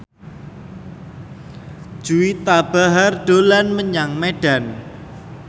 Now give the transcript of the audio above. Juwita Bahar dolan menyang Medan